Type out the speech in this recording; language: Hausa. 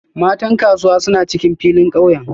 Matan Kasuwa suna cikin filin kauye